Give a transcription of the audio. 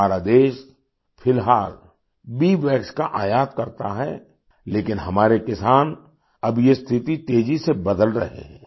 हमारा देश फिलहाल बीवैक्स का आयात करता है लेकिन हमारे किसान अब ये स्थिति तेजी से बदल रहे हैं